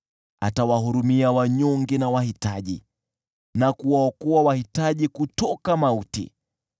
Atawahurumia wanyonge na wahitaji na kuwaokoa wahitaji kutoka mauti.